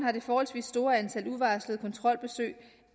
har det forholdsvis store antal uvarslede kontrolbesøg